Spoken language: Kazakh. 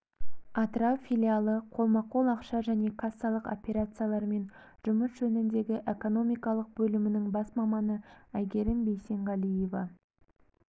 атырау филиалы қолма-қол ақша және кассалық операциялармен жұмыс жөніндегі экономикалық бөлімінің бас маманы әйгерім бейсенғалиева